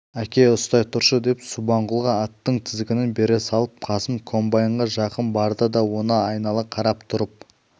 әке ұстай тұршы деп субанқұлға аттың тізгінін бере салып қасым комбайнға жақын барды да оны айнала қарап тұрып